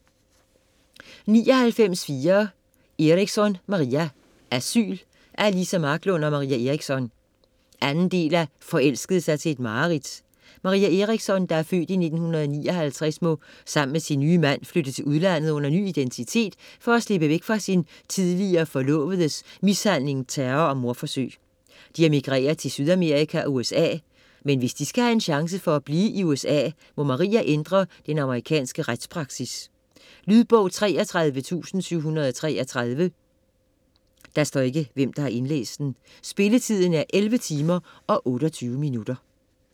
99.4 Eriksson, Maria Asyl Af Liza Marklund og Maria Erikson. 2. del af Forelskede sig til et mareridt. Maria Eriksson (f. 1959) må sammen med sin nye mand flytte til udlandet under ny identitet for at slippe væk fra sin tidligere forlovedes mishandling, terror og mordforsøg. De emigrerer til Sydamerika og USA, men hvis de skal have en chance for at blive i USA må Maria ændre den amerikanske retspraksis. Lydbog 34733 Spilletid: 11 timer, 28 minutter.